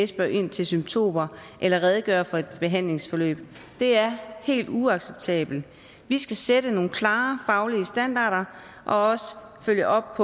spørger ind til symptomer eller redegør for et behandlingsforløb det er helt uacceptabelt vi skal sætte nogle klare faglige standarder og også følge op